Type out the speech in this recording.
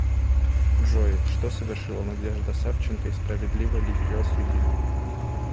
джой что совершила надежда савченко и справедливо ли ее осудили